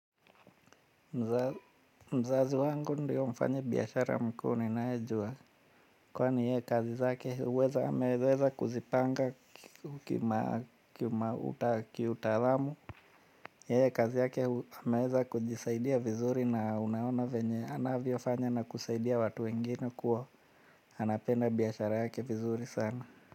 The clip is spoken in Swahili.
Mzazi wangu ndiyo mfanya biashara mkuu ninayejua. Kwani yeye kazi zake anaweza kuzipanga kitaalamu. Yeye kazi yake anaweza kujisaidia vizuri na unaona venye anavyofanya na kusaidia watu wengine kuwa anapenda biashara yake vizuri sana.